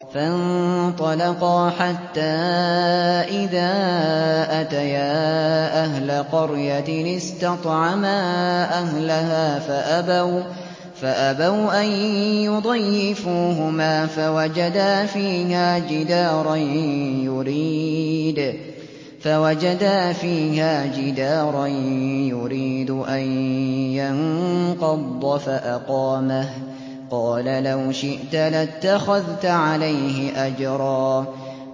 فَانطَلَقَا حَتَّىٰ إِذَا أَتَيَا أَهْلَ قَرْيَةٍ اسْتَطْعَمَا أَهْلَهَا فَأَبَوْا أَن يُضَيِّفُوهُمَا فَوَجَدَا فِيهَا جِدَارًا يُرِيدُ أَن يَنقَضَّ فَأَقَامَهُ ۖ قَالَ لَوْ شِئْتَ لَاتَّخَذْتَ عَلَيْهِ أَجْرًا